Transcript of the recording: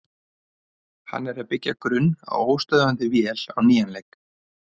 Hann er að byggja grunn að óstöðvandi vél á nýjan leik.